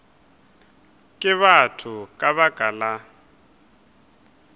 ke batho ka baka la